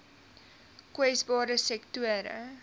kwesbare sektore